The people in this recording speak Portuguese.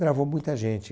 Gravou muita gente.